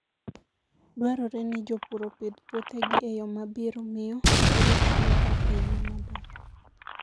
Dwarore ni jopur opidh puothegi e yo ma biro miyo girit alwora e yo maber.